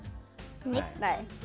nei